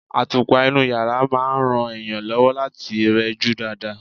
Àtùpà inú yàrá máa ń ran èèyàn lọ́wọ́ láti rẹjú dáadáa.